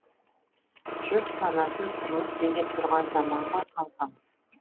жұрт санасын тұрмыс билеп тұрған заман ғой қалқам